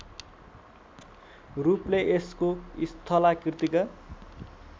रूपले यसको स्थलाकृतिका